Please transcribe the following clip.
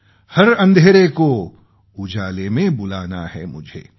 हर अँधेरे को उजाले में बुलाना है मुझे